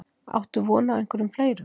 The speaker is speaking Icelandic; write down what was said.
Áttu von á einhverjum fleirum?